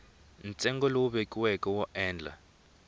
ntsengo lowu vekiweke wo endla